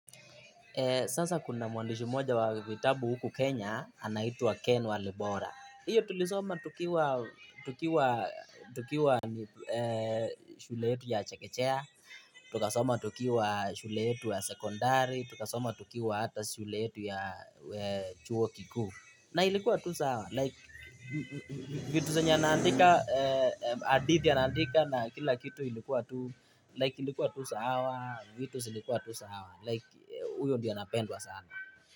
Sasa kuna muandishi moja wa vitabu huku Kenya, anaitwa Ken walibora. Iyo tulisoma tukiwa tukiwa tukiwa shuletu ya chekechea, tukasoma tukiwa shule yetu ya secondary, tukasoma tukiwa hata shuletu ya chuo Kiku. Na ilikuwa tu sawa, like, vitu zenye anaandika, hadithi anaandika na kila kitu ilikuwa tu, like ilikuwa tu sawa, vitu silikuwa tu sawa, like, huyo ndiye anapendwa sana.